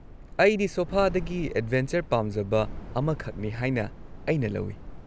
ꯑꯩꯗꯤ ꯁꯣꯐꯥꯗꯒꯤ ꯑꯦꯗꯚꯦꯟꯆꯔ ꯄꯥꯝꯖꯕ ꯑꯃꯈꯛꯅꯤ ꯍꯥꯏꯅ ꯑꯩꯅ ꯂꯧꯏ!